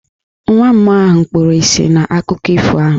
Nwa mmụọ ahụ kpuru isi n'akụkọ ifo ahụ.